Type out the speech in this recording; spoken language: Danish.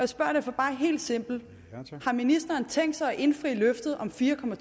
spørger jeg bare helt simpelt har ministeren tænkt sig at indfri løftet om fire